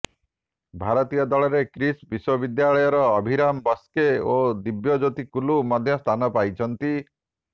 ଭାରତୀୟ ଦଳରେ କିସ୍ ବିଶ୍ୱବିଦ୍ୟାଳୟର ଅଭିରାମ ବାସ୍କେ ଓ ଦିବ୍ୟଜ୍ୟୋତି କୁଲୁ ମଧ୍ୟ ସ୍ଥାନ ପାଇଛନ୍ତି